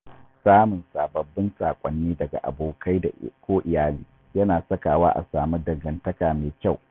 Samun sababbin saƙonni daga abokai ko iyali yana sakawa a samu dangantaka mai kyau.